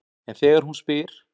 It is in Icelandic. En þegar hún spyr